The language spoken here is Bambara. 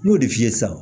N y'o de f'i ye sisan